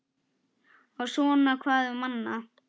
Og svona hvað um annað: